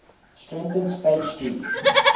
strengthened state street's